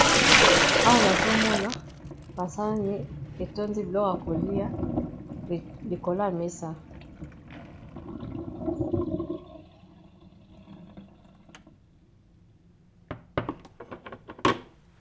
awa nazomona basani etondi bilok ya kolia likolo ya mesa